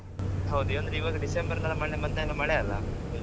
ಹೌದ್ ಈಗ್ ಅಂದ್ರೆ ಈವಾಗ ಡಿಸೆಂಬರ್ ರಿಂದ ಮಳೆ ಮದ್ಯಂತರ ಮಳೆ ಅಲ್ಲಾ